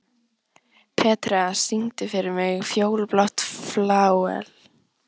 Petrea, syngdu fyrir mig „Fjólublátt flauel“.